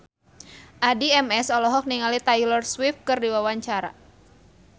Addie MS olohok ningali Taylor Swift keur diwawancara